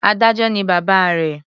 Adájọ́ ni bàbá rẹ̀.